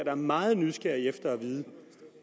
er meget nysgerrige efter at vide